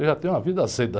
Eu já tenho uma vida aceita.